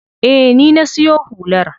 Eh, ni na siyo hular.